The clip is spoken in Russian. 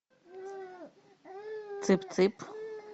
цып цып